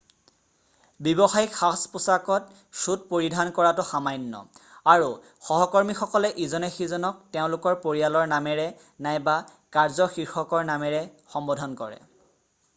ব্যৱসায়িক সাজ-পোছাকত চুট পৰিধান কৰাটো সামান্য আৰু সহকৰ্মীসকলে ইজনে সিজনক তেওঁলোকৰ পৰিয়ালৰ নামেৰে নাইবা কাৰ্য শীৰ্ষকৰ নামেৰে সম্বোধন কৰে